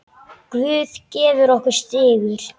Guð gefur okkur sigur.